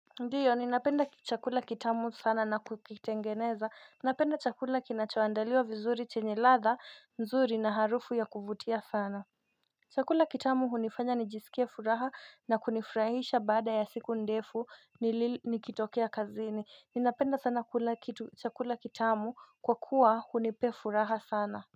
Ndio ninapenda chakula kitamu sana na kukitengeneza, ninapenda chakula kinachoandaliwa vizuri chenye ladha mzuri na harufu ya kuvutia sana Chakula kitamu hunifanya nijisikie furaha na kunifrahisha baada ya siku ndefu nilil nikitokea kazini ninapenda sana chakula kitamu kwa kuwa hunipea furaha sana na.